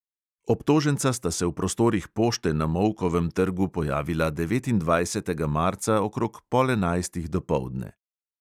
Obtoženca sta se v prostorih pošte na molkovem trgu pojavila devetindvajsetega marca okrog pol enajstih dopoldne.